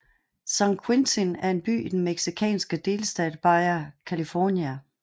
San Quintín er en by i den mexicanske delstat Baja California